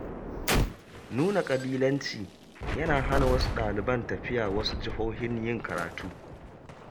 Nuna ƙabilanci, yana hana wasu ɗaliban tafiya wasu jihohin yin karatu.